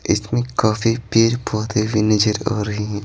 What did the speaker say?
इसमें काफी पेड़ पौधे भी नजर आ रहे हैं।